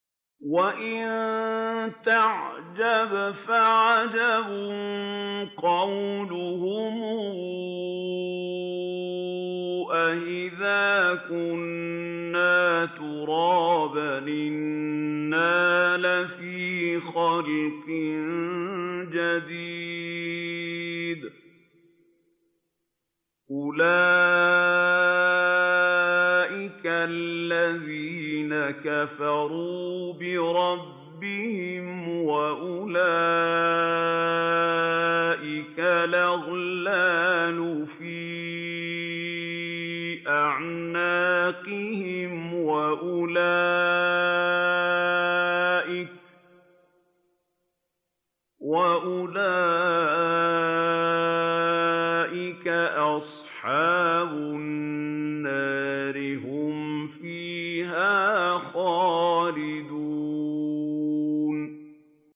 ۞ وَإِن تَعْجَبْ فَعَجَبٌ قَوْلُهُمْ أَإِذَا كُنَّا تُرَابًا أَإِنَّا لَفِي خَلْقٍ جَدِيدٍ ۗ أُولَٰئِكَ الَّذِينَ كَفَرُوا بِرَبِّهِمْ ۖ وَأُولَٰئِكَ الْأَغْلَالُ فِي أَعْنَاقِهِمْ ۖ وَأُولَٰئِكَ أَصْحَابُ النَّارِ ۖ هُمْ فِيهَا خَالِدُونَ